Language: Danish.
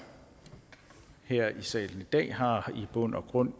her i salen i dag har jo i bund og grund